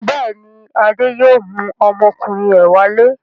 Bẹ́ẹ̀ ni, Adé yóò mú ọmọkùnrin rẹ̀ wálé.